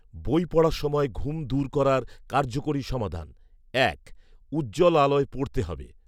বই পড়ার সময় ঘুম দূর করার কার্যকারী সমাধান, এক, উজ্জ্বল আলোয় পড়তে হবে